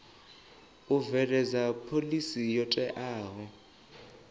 u bveledza phoḽisi yo teaho